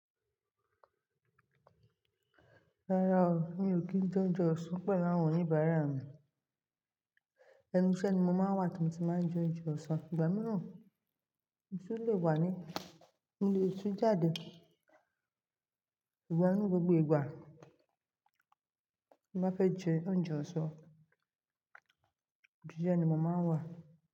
Rárá o, mi ò kí ń jẹ oúnjẹ ọ̀sán pẹ̀lú àwọn oníbàárà mi. Ẹnú iṣẹ́ ní mó máa ń wà tí mó tí máa ń jẹ oúnjẹ ọ̀sán. Ìgbà mìíràn, kí n tó lè wà ní ilé iṣu jáde. Ìgbà mìí gbògbò ìgbà tí mó bá fẹ́ jẹ oúnjẹ ọ̀sán, ilé iṣẹ́ ní mó máa ń wà.